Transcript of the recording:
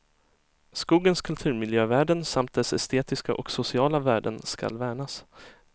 Skogens kulturmiljövärden samt dess estetiska och sociala värden skall värnas.